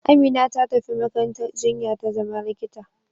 Amina ta tafi makarantar jinya ta zama likita.